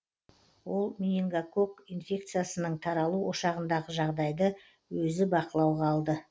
ол менингококк инфекциясының таралу ошағындағы жағдайды өзі бақылауға алды